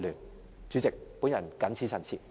代理主席，我謹此陳辭。